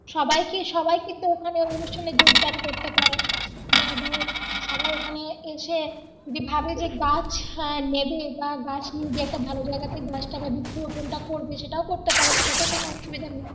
সবাইকে সবাই কিন্তু অনুষ্ঠানে যোগদান করতে পারে বা ধরো সবাই ঐখানে এসে যে ভাবে যে গাছ আহ নেবে বা গাছ নিয়ে গিয়ে একটা ভালো জায়গায় তে গাছটাকে বৃক্ষ রোপন টা করবে সেটাও করতে পারে সেটাতে ও কোন অসুবিধা নেই